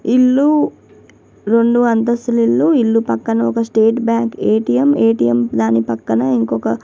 ఇల్లు రెండు అంతస్తులు ఇల్లు ఇల్లు పక్కన ఒక స్టేట్ బ్యాంక్ ఏ.టి.మ్. ఏ.టి.మ్. ధాని పక్కన ఇంకొక --